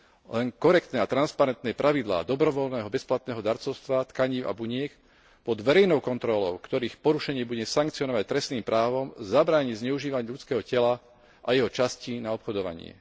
Len korektné a transparentné pravidlá dobrovoľného bezplatného darcovstva tkanív a buniek pod verejnou kontrolou, ktorých porušenie sa bude sankcionovať trestným právom, zabráni zneužívaniu ľudského tela a jeho častí na obchodovanie.